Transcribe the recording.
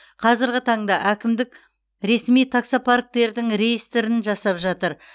қазіргі таңда әкімдік ресми таксопарктердің реестрін жасап жатыр